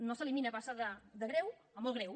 no s’elimina passa de greu a molt greu